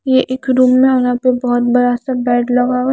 ये एक रूम ना यहां पे बहुत बड़ा सा बेड लगा हुआ है।